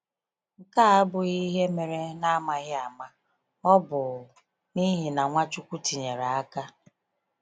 Nke a abụghị ihe mere n’amaghị ama; ọ bụ n’ihi na Nwachukwu tinyere aka.